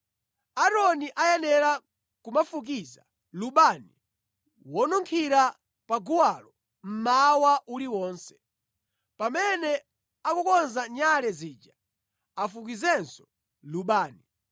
“Aaroni ayenera kumafukiza lubani wonunkhira pa guwalo mmawa uliwonse. Pamene akukonza nyale zija afukizenso lubani.